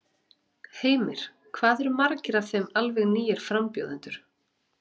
Heimir: Hvað eru margir af þeim alveg nýir frambjóðendur?